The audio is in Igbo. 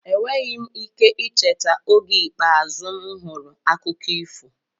Enweghị m ike icheta oge ikpeazụ m hụrụ akụkọ ifo.